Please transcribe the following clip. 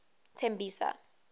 tembisa